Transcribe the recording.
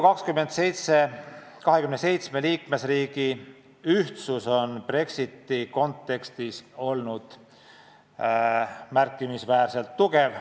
27 Euroopa Liidu liikmesriigi ühtsus on Brexiti kontekstis olnud märkimisväärselt tugev.